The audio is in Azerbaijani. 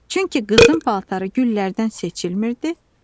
Çünki qızın paltarı güllərdən seçilmirdi.